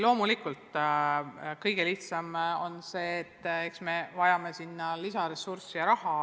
Loomulikult kõige lihtsam vastus on see, et me vajame sinna lisaressurssi, lisaraha.